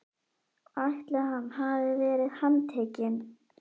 ætli hann verði handtekinn?